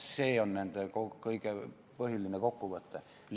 See on põhiline kokkuvõte.